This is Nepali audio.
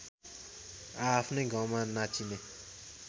आआफ्नै गाउँमा नाचिने